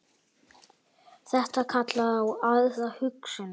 Þetta kallar á aðra hugsun.